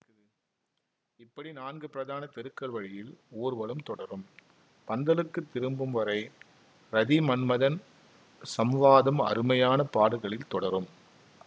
இப்படி நான்கு பிரதான தெருக்கள் வழியில் ஊர்வலம் தொடரும் பந்தலுக்கு திரும்பும்வரை ரதி மன்மதன் சம்வாதம் அருமையான பாடல்களில் தொடரும்